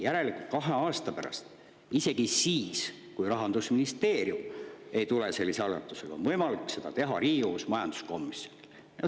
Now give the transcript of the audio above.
Järelikult on kahe aasta pärast – isegi siis, kui Rahandusministeerium ei tule sellise algatusega välja – seda võimalik teha Riigikogu majanduskomisjonil.